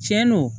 Tiɲɛ don